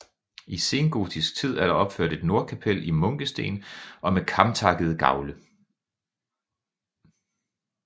I sengotisk tid er der opført et nordkapel i munkesten og med kamtakkede gavle